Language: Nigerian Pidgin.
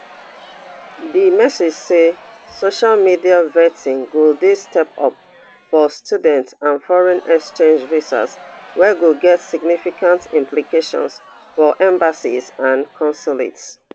di message say social media vetting go dey stepped up for student and foreign exchange visas wey go get significant implications for embassies and consulates